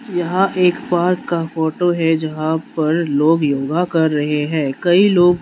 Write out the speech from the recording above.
यह एक पार्क का फोटो है जहाँ पर लोग योगा कर रहे है कई लोग --